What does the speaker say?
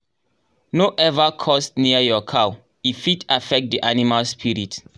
no ever curse near your cow — e fit affect the animal spirit.